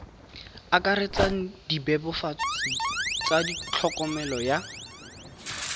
akaretsang dibebofatsi tsa tlhokomelo ya